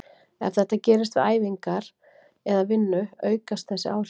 Ef þetta gerist við æfingar eða vinnu aukast þessi áhrif.